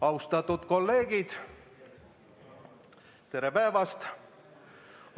Austatud kolleegid, tere päevast!